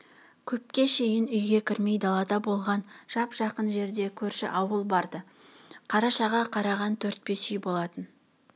көпке шейін үйге кірмей далада болған жап-жақын жерде көрші ауыл бар-ды қарашаға қараған төрт-бес үй болатын